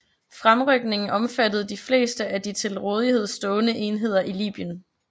Fremrykningen omfattede de fleste af de til rådighed stående enheder i Libyen